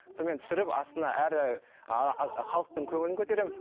сонымен түсіріп астына әрі халықтың көңілін көтеремін